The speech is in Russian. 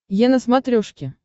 е на смотрешке